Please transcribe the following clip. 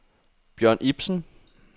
Bjørn Ipsen